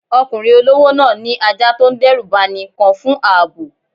Ọkùnrin olówó náà ní ajá tó ń dẹ́rù bani kan fún ààbò.